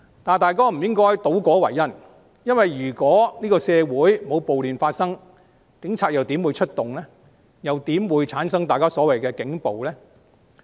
大家不應該倒果為因，如果社會沒有暴亂發生，警察又怎會出動，又怎會產生大家所謂的警暴呢？